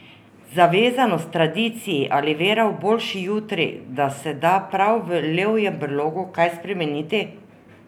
Zavezanost tradiciji ali vera v boljši jutri, da se da prav v levjem brlogu kaj spremeniti?